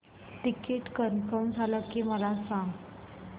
ticket confirm झाले की मला सांग